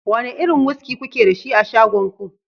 wane irin wuski kuke da shi a shagon ku